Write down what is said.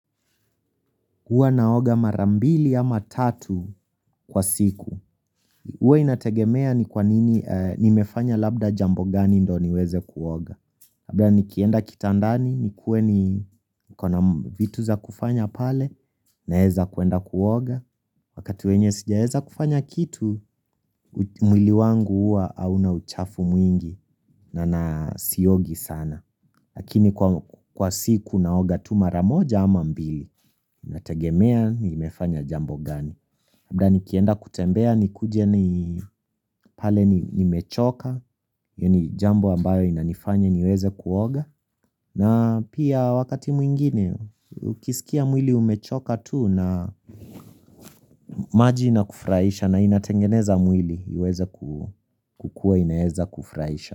Hua naoga mar mbili ama tatu kwa siku hua inategemea ni kwa nini. Ni mefanya labda jambo gani ndo ni weze kuoga, labla nikienda kitandani nikue ni niko na vitu za kufanya pale na heza kuenda kuoga Wakati wenye sija heza kufanya kitu mwili wangu hua hauna uchafu mwingi na na siyogi sana Lakini kwa siku naoga tu maramoja ama mbili Inategemea ni mefanya jambo gani labda nikienda kutembea ni kuje ni pale ni mechoka yani jambo ambayo inanifanya niweze kuoga na pia wakati mwingine ukisikia mwili umechoka tu na maji inakufraisha na inatengeneza mwili iweze kukua inaeza kufraisha.